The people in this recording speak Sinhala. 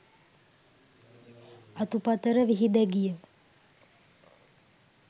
අතුපතර විහිදැ ගිය